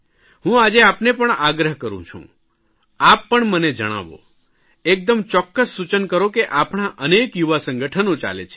હું આજે આપને પણ આગ્રહ કરૂં છું આપ પણ મને જણાવો એકદમ ચોક્કસ સૂચન કરો કે આપણાં અનેક યુવા સંગઠનો ચાલે છે